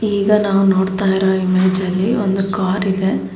ಈಗ ನಾವು ನೋಡ್ತಾ ಇರೋ ಇಮೇಜ್ ಅಲ್ಲಿ ಒಂದು ಕಾರ್ ಇದೆ.